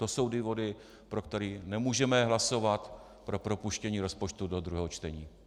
To jsou důvody, pro které nemůžeme hlasovat pro propuštění rozpočtu do druhého čtení.